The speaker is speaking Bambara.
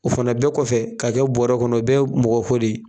O fana bɛɛ kɔfɛ ka kɛ bɔrɛ kɔnɔ, o bɛ ye mɔgɔ ko de ye